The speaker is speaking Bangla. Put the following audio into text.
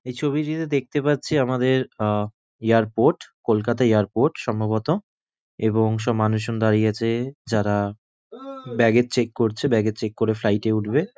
এই ছবিটিতে দেখতে পাচ্ছি আমাদের অ্যা এয়ারপোর্ট কলকাতা এয়ারপোর্ট সম্ভবত এবং সব মানুষজন দাঁড়িয়ে আছে যারা ব্যাগ এর চেক করছে ব্যাগ এর করে করে ফ্লাইট এ উঠবে।